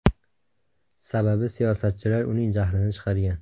Sababi siyosatchilar uning jahlini chiqargan.